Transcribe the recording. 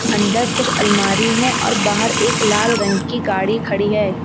अन्दर कुछ अलमारी है और बाहर एक लाल रंग की गाड़ी खड़ी है।